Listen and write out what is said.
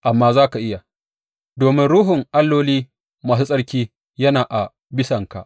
Amma za ka iya, domin ruhun alloli masu tsarki yana a bisanka.